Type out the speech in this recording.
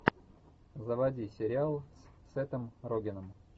заводи сериал с сетом рогеном